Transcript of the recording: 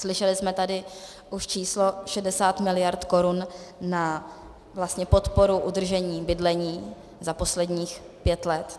Slyšeli jsme tady už číslo 60 miliard korun na podporu udržení bydlení za posledních pět let.